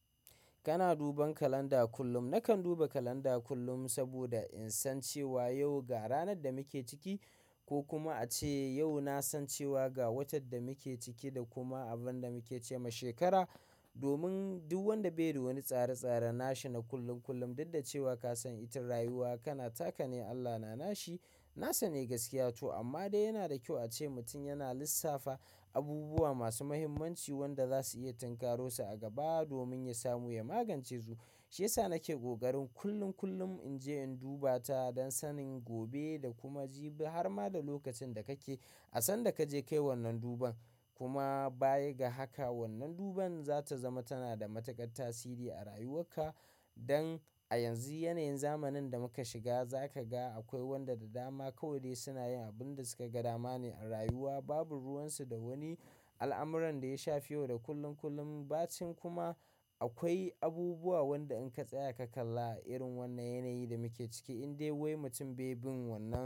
Kana duban kalanda kullum. Nakan duba kalanda kullum saboda in san cewa yau ga ranar da muke ciki ko kuma ace yau na san cewa ga watan da muke ciki da kuma abin da muke ce ma shekara. Domin duk wanda bai da wani tsare-tsare na shi na kullum kullum, duk da cewa ka san itan rayuwa kana taka ne Allah na nashi. Nasane gaskiya to amma dai yana da kyau ace mutum yana lissafa abubuwa masu muhimmanci wanda za su iya tinkarosa a gaba domin ya samu ya magance su. Shiyasa nake gogarin kullum kullum in je in duba ta don sanin gobe da kuma jibi har ma da lokacin da kake. Asan da kaje kai wannan duban kuma baya ga haka wannan duban za ta zama tana da matuƙar tasiri a rayuwarka. Dan a yanzu yanayin zamanin da muka shiga za ka ga akwai wanda da dama kawai dai suna yin abun da suka ga dama ne a rayuwa. Babu ruwansu da wani al'amuran da ya shafi yau da kullum kullum. Ba cin kuma akwai abubuwa wanda in ka tsaya ka kalla a irin wannan yanayi da muke ciki in dai wai mutum bai bin wannan.